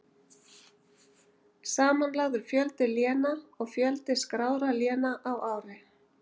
Samanlagður fjöldi léna og fjöldi skráðra léna á ári.